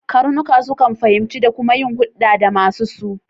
Karnuka su kan fahimce da kuma yin huɗɗa da masu su.